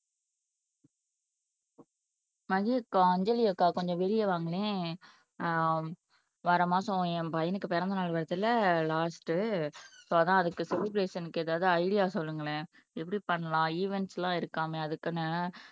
மதிக்கா அஞ்சலி அக்கா கொஞ்சம் வெளிய வாங்களேன் அஹ் வர மாசம் என் பையனுக்கு பிறந்தநாள் வருதுல லாஸ்ட் சோ அதான் அதுக்கு செலிப்ரஷன்க்கு ஏதாவது ஐடியா சொல்லுங்களேன் எப்படி பண்ணலாம் ஈவென்ட்ஸ்லாம் இருக்காமே அதுக்குன்னு